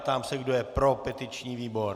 Ptám se, kdo je pro petiční výbor.